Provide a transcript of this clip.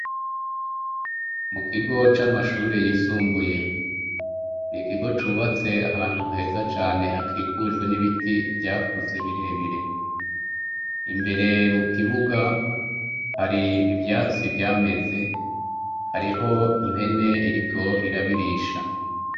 Mu kigo c'amashure yisumbuye, ikigo cubatse ahantu heza cane hakikujwe n'ibiti vyakuze birebire, imbere mu kibuga hari ivyatsi vyameze hariho impene iriko irabirisha.